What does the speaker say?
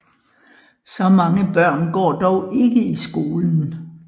Så mange børn går dog ikke i skolen